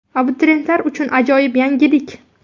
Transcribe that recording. Abituriyentlar uchun ajoyib yangilik!